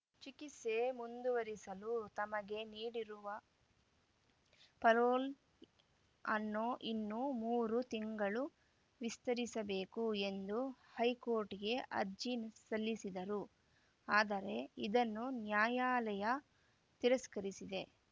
ಚಿಕಿತ್ಸೆ ಮುಂದುವರಿಸಲು ತಮಗೆ ನೀಡಿರುವ ಪರೋಲ್‌ ಅನ್ನು ಇನ್ನೂ ಮೂರು ತಿಂಗಳು ವಿಸ್ತರಿಸಬೇಕು ಎಂದು ಹೈಕೋರ್ಟ್‌ಗೆ ಅರ್ಜಿ ಸಲ್ಲಿಸಿದ್ದರು ಆದರೆ ಇದನ್ನು ನ್ಯಾಯಾಲಯ ತಿರಸ್ಕರಿಸಿದೆ